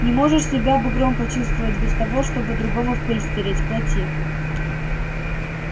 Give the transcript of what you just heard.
не можешь себя бугром почувствовать без того чтобы другого в пыль стереть плати